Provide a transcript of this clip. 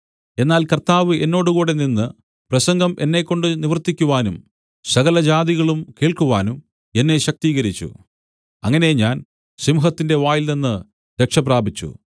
എന്നാൽ കർത്താവ് എന്നോട് കൂടെ നിന്ന് പ്രസംഗം എന്നെക്കൊണ്ട് നിവർത്തിക്കുവാനും സകലജാതികളും കേൾക്കുവാനും എന്നെ ശക്തീകരിച്ചു അങ്ങനെ ഞാൻ സിംഹത്തിന്റെ വായിൽനിന്നു രക്ഷപ്രാപിച്ചു